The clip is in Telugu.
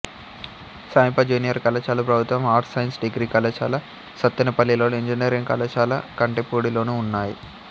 సమీప జూనియర్ కళాశాల ప్రభుత్వ ఆర్ట్స్ సైన్స్ డిగ్రీ కళాశాల సత్తెనపల్లిలోను ఇంజనీరింగ్ కళాశాల కంటెపూడిలోనూ ఉన్నాయి